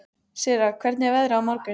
Sirra, hvernig er veðrið á morgun?